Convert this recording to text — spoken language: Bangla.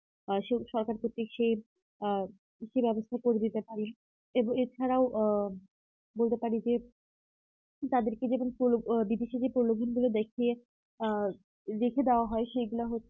আ সরকারভিত্তিক সেই আ ইতি ব্যবস্থা করে দিতে পারি এবং এছাড়াও আ বলতে পারি যে তাদেরকে যেমন প্রলো বিদেশীদের প্রলোভন গুলো দেখিয়ে আ দেখিয়ে দেওয়া হয় সেগুলা